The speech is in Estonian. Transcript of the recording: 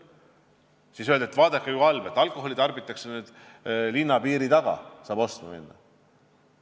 Siis öeldi, et vaadake, kui halb, alkoholi tarbitakse nüüd linna piiride taga, sealt saab ostma minna.